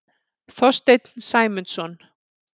Þorstein Sæmundsson.